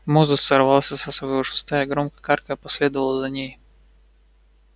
мозус сорвался со своего шеста и громко каркая последовал за ней